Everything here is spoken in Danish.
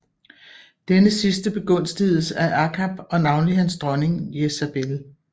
Denne sidste begunstigedes af Akab og navnlig hans dronning Jezabel